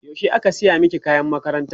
yaushe aka saya maki kayan makaranta?